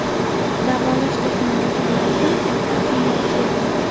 Davolash texnologiyalari ham katta ahamiyatga ega.